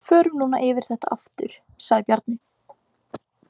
Förum nú yfir þetta aftur, sagði Bjarni.